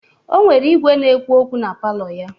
O nwere igwe na-ekwu okwu na palọ ya.